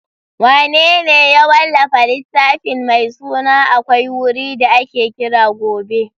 Wanene ya wallafa littafin mai suna AKWAI WURI DA AKE KIRA GOBE?